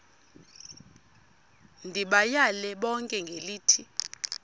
ndibayale bonke ngelithi